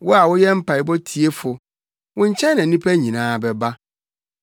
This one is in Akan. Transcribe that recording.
Wo a woyɛ mpaebɔ tiefo, wo nkyɛn na nnipa nyinaa bɛba.